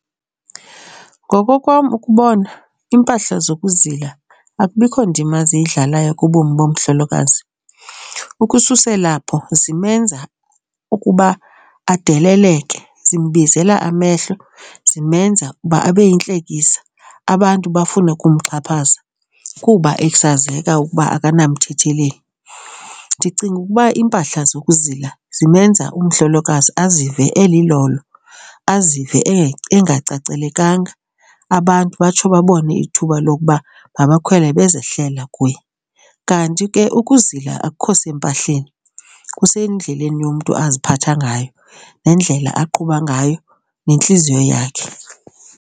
Ngokokwam ukubona iimpahla zokuzila akubikho ndima ziyidlalayo kubomi bomhlolokazi. Ukususela apho zimenza ukuba adeleleke, zimbizela amehlo, zimenza uba abe yintlekisa, abantu bafune ukumxhaphaza kuba esazeka ukuba akanamthetheleli. Ndicinga ukuba iimpahla zokuzila zimenza umhlolokazi azive elilolo, azive engacacelekanga. Abantu batsho babone ithuba lokuba mabakhwele bezehlela kuye. Kanti ke ukuzila akukho sempahlani, kusendleleni yomntu aziphatha ngayo nendlela aqhuba ngayo nentliziyo yakhe.